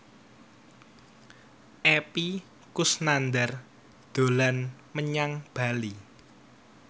Epy Kusnandar dolan menyang Bali